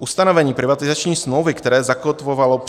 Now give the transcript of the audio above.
Ustanovení privatizační smlouvy, které zakotvovalo